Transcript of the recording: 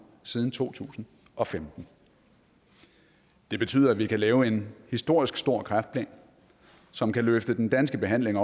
siden to tusind og femten det betyder at vi kan lave en historisk stor kræftplan som kan løfte den danske behandling